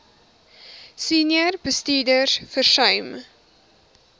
senior bestuurders versuim